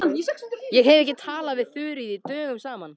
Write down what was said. Ég hef ekki talað við Þuríði dögum saman.